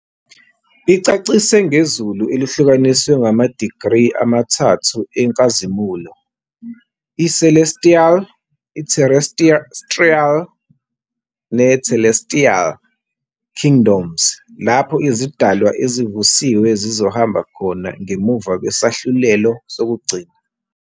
Icacise ngezulu elihlukaniswe ngamadigri amathathu enkazimulo, i-Celestial, Terrestrial, ne-Telestial Kingdoms, lapho izidalwa ezivusiwe zizohamba khona ngemuva kwesahlulelo sokugcina.